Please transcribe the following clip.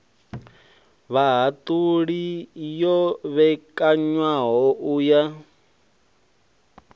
vhahaṱuli yo vhekanywaho u ya